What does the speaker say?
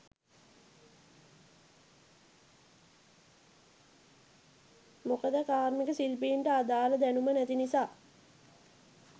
මොකද කාරිමික ශිල්පීන්ට අදාල දැණුම නැති නිසා.